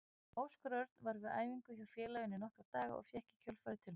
Óskar Örn var við æfingar hjá félaginu í nokkra daga og fékk í kjölfarið tilboð.